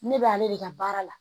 Ne b'ale de ka baara la